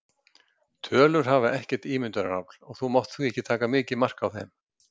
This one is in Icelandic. Tölur hafa ekkert ímyndunarafl og þú mátt því ekki taka mikið mark á þeim.